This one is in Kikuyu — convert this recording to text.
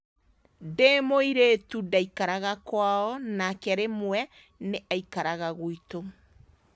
Ndĩ mũirĩtu ndaikaraga kwao, nake rĩmwe na rĩmwe nĩ aikaraga gwitũ.